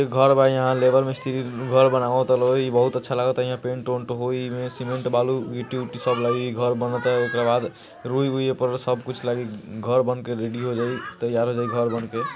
एक घर बा यहाँ लेबर मिस्त्री घर बनावता बहुत अच्छा लागता हियाँ पेंट उंट होई ईमे सिमेन्ट बालू गिट्टी विट्टी सब लगी घर बनता ओकरा बाद रुई बुइ ऊपर सब कुछ घर बनके रेडी हो जाये तैयार हो जाइ घर बनके।